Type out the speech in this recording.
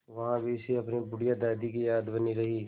वहाँ भी इसे अपनी बुढ़िया दादी की याद बनी रही